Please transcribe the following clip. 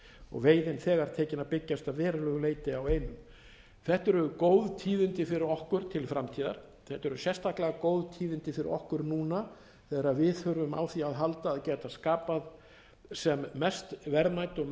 og veiðin þegar tekin að byggjast að verulegu leyti á einu þetta eru góð tíðindi fyrir okkur til framtíðar þetta eru sérstaklega góð tíðindi fyrir okkur núna þegar við þurfum á því að halda að geta skapað sem mest verðmæti og sem mestan